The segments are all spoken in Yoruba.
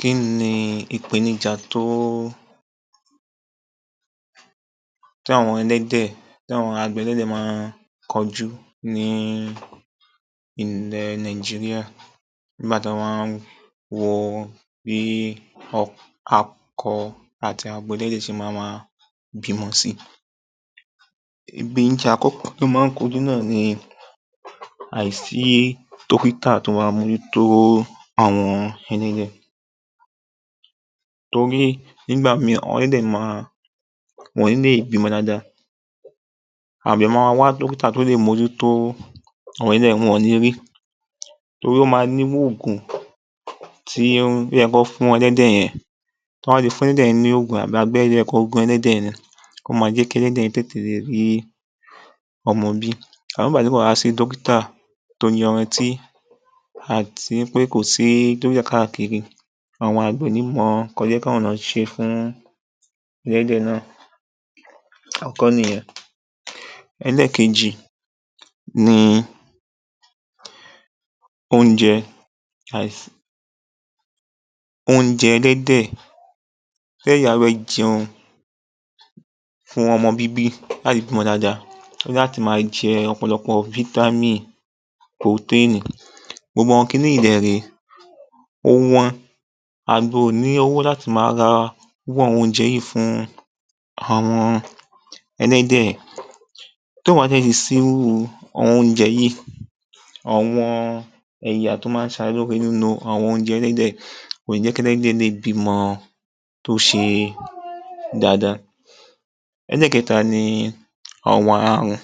Kí ni ìpènijà tí àwọn àgbẹ̀ ẹlẹ́dẹ̀ má ń kojú ní ilẹ̀ Nàìjíríà nígbà tí wọ́n bá ń wo bí akọ àti abo ẹlẹ́dẹ̀ ṣe ma ma bímọ si. Ìpènijà àkọ́kọ́ tí wọ́n má ń kojú náà ni àìsí dọ́kítà tó ma ń mojútó àwọn ẹlẹ́dẹ̀ tóri nígbà míì àwọn ẹlẹ́dẹ̀ wọn kì ń lè bímọ dáadáa, àgbẹ̀ ma ma wá dọ́kítà tí ó lè mojútó àwọn ẹlẹ́dẹ̀ wọn ò ní rí torí ó ma ní irú ògùn tí ó yẹ kí wọ́n fún ẹlẹ́dẹ̀ yẹn, tí wọ́n bá ti fún ẹlẹ́dẹ̀ yẹn ní ògùn yẹn àbí abẹ́rẹ́ tí ó yẹ kí wọ́n gún ẹlẹ́dẹ̀ yẹn, ó ma jẹ́ kí ẹlẹ́dẹ̀ yẹn tètè rí ọmọ bí àmọ́ nígbà tí ò bá wá sí dọ́kítà tó yanrantí àti wí pé kò sí dọ́kítà káàkiri àwọn àgbẹ̀ ò ní mọ nǹkan tí ó yẹ kí àwọn náà ṣe fún ẹlẹ́dẹ̀ náà, àkọ́kọ́ nìyẹn. Ẹlẹ́ẹ̀kejì ni oúnjẹ, àìsí oúnjẹ ẹlẹ́dẹ̀. Tí ẹlẹ́dẹ̀ bá fẹ́ jẹun fún ọmọ bíbí láti bímọ dáadáa ó ní láti ma jẹ ọ̀pọ̀lọpọ̀ fítámì, purotéènì gbogbo àwọn kiní yìí dẹ̀ ré ó wọ́n, àgbẹ̀ ò ní owó láti ma ra irú àwọn oúnjẹ yìí fún àwọn ẹlẹ́dẹ̀, tí ò bá dè ti sí irú àwọn oúnjẹ yìí, àwọn ẹ̀yà tí ó má ń ṣe ara lóore nínú àwọn oúnjẹ ẹlẹ́dẹ̀ kò ní jẹ́ kí ẹlẹ́dẹ̀ lè bímọ tó ṣe dáadáa. Ẹlẹ́ẹ̀kẹ́ta ni ọ̀wàn arùn,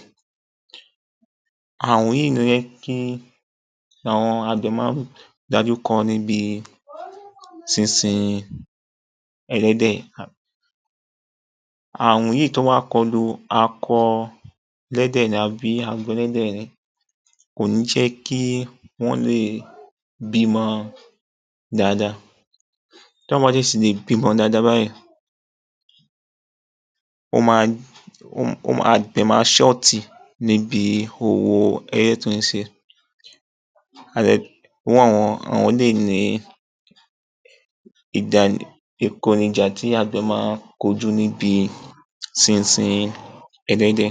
àrùn yìí ni ó jẹ́ kí àwọn àgbẹ̀ má ń dojúkọ níbi sínsin ẹlẹ́dẹ̀. Àrùn yìí tó bá kọ lu akọ ẹlẹ́dẹ̀ àbí abo ẹlẹ́dẹ̀ ni kò ní jẹ́ kí wọ́n lè bímọ dáadáa, tí wọn ò bá dè ti lè bímọ dáadáa báyìí ó ma dẹ̀ ma ṣọ́ọ̀tì níbi òwò ẹlẹ́dẹ̀ tó ń ṣe. Àwọn eléyìí ni ìkònijà tí àgbẹ̀ ma ń kojú níbi sínsin ẹlẹ́dẹ̀.